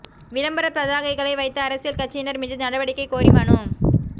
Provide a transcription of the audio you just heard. விளம்பரப் பதாகைகளை வைத்த அரசியல் கட்சியினர் மீது நடவடிக்கை கோரி மனு